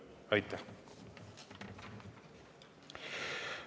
Aitäh!